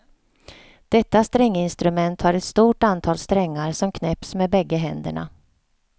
Detta stränginstrument har ett stort antal strängar som knäpps med bägge händerna.